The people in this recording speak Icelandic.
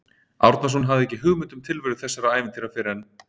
Árnason hafði ekki hugmynd um tilveru þessara ævintýra fyrr en